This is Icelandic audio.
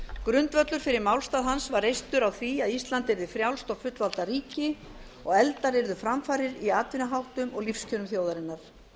grundvöllur fyrir málstað hans var reistur á því að ísland yrði frjálst og fullvalda ríki og efldar yrðu framfarir í atvinnuháttum og lífskjörum þjóðarinnar